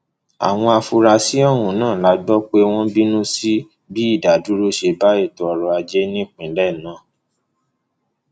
àwọn afurasí ọhún la gbọ pé wọn ń bínú sí bí ìdádúró ṣe bá ètò ọrọajé ìpínlẹ náà